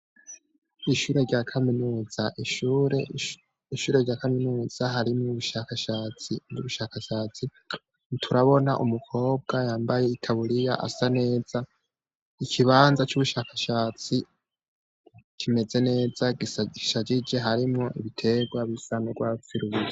Ishure, ishure rya Kaminuza harimwo ubushakashatsi turabona umukobwa yambaye itaburiya asa neza ikibanza c'ubushakashatsi kimeze neza gishagije harimwo ibiterwa bisa n'ugwatsi rubisi.